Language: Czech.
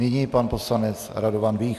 Nyní pan poslanec Radovan Vích.